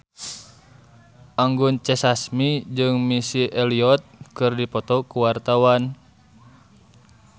Anggun C. Sasmi jeung Missy Elliott keur dipoto ku wartawan